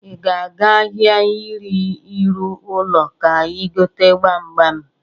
I ga aga ahịa ihe ịrụ ụlọ ka I gote gbamgbam?